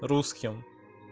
русским